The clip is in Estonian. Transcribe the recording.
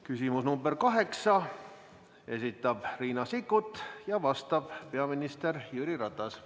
Küsimus nr 8, esitab Riina Sikkut ja vastab peaminister Jüri Ratas.